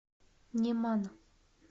неман